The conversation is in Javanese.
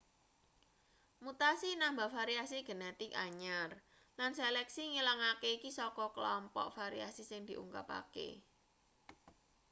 mutasi nambah variasi genetik anyar lan seleksi ngilangake iki saka kelompok variasi sing diungkapake